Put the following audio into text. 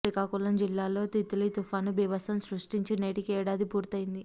శ్రీకాకుళం జిల్లాలో తిత్లీ తుపాను బీభత్సం సృష్టించి నేటికి ఏడాది పూర్తయింది